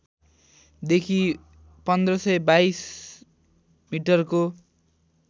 देखि १५२२ मिटरको